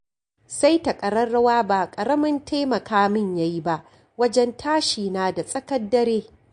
Saita ƙararrawa ba ƙaramin taimaka min ya yi ba wajen tashi na da tsakar dare